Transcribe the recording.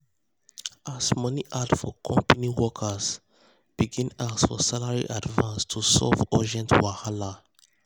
as money hard for company workers begin ask for salary advance to solve urgent wahala.